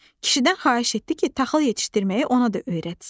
Kişidən xahiş etdi ki, taxıl yetişdirməyi ona da öyrətsin.